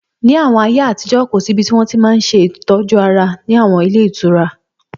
Ní àwọn ayé àtijọ́, kò síbi tí wọ́n ti máa n ṣe ìtọ́jú ara ní àwọn ilé ìtura